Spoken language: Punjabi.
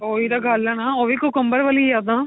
ਉਹੀ ਤਾਂ ਗਲ ਏ ਨਾ ਉਹੀ cucumber ਵਾਲੀ ਯਾਦਾਂ